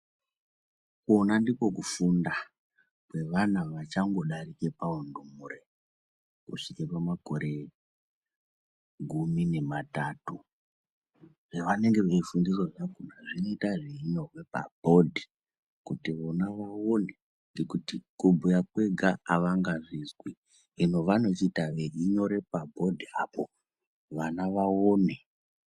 Kona ndiko kufunda kweana achangodarike paundumure kusvike pamakore gumi nematatu. Zvevanenge veifundiswa zvakhona zvinoite zvichinyora pabhodhi kuti vona vaone kuti kubhuya kwega avangazvizwi, hino vanochizoita veinyore pabhodhi apo, vana vaone.